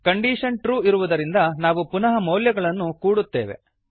condition true ಇರುವುದರಿಂದ ನಾವು ಪುನಃ ಮೌಲ್ಯಗಳನ್ನು ಕೂಡುತ್ತೇವೆ